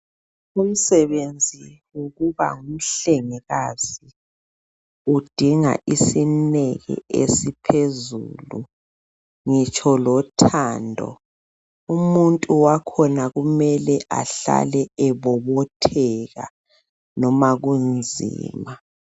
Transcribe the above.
Umsebenzi wokuba ngumhlengikazi udinga isineke esiphezulu ngitsho lothando. Umuntu wakhona kumele ahlale ebobotheka noma kunzima.